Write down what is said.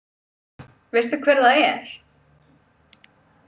Veistu hver það er?